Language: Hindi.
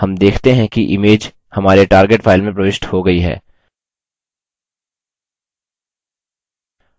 हम देखते हैं कि image हमारे target file में प्रविष्ट हो गयी है